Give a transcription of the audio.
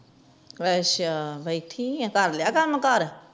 ਅੱਛਾ ਬੈਠੀ ਆ ਕਰਲਿਆ ਕਾਮ ਕਰ